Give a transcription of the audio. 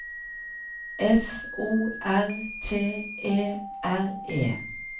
F O R T E R E